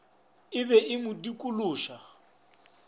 e be e mo dikološa